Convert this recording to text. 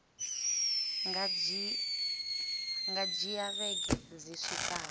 nga dzhia vhege dzi swikaho